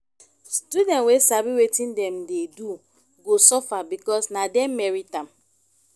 student wey sabi wetin dem dey do go suffer because na dem merit am